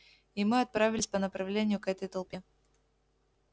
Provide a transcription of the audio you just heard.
и мы отправились по направлению к этой толпе